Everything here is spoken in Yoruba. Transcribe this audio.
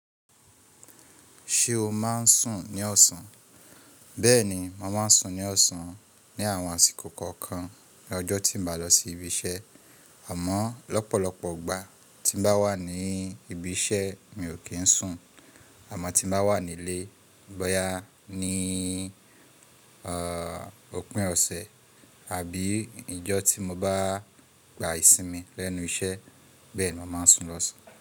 Ṣé o máa n sùn ní ọ̀sán? Bẹ́ẹ̀ni, mo máa n sùn ní ọ̀sán ní àwọn àsìkò kọ̀ọ̀kan ní ọjọ́ tí n bá lọ sí ibi iṣẹ́. Àmọ́ lọ́pọ̀lọpọ̀ ìgbà tí n bá wà ní ibi iṣẹ́ mi ò kí n sùn. Àmọ́ tí n bá wà nílé, bóyá ní òpin ọ̀sẹ̀ àbí ìjọ́ tí mo bá gba ìsinmi lẹ́nu iṣẹ́ Bẹ́ẹ̀ni mo máa n sùn lọ́sàn.